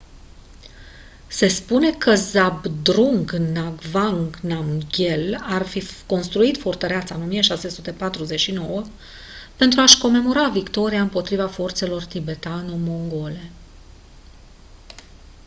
se spune că zhabdrung ngawang namgyel ar fi construit fortăreața în 1649 pentru a-și comemora victoria împotriva forțelor tibetano-mongole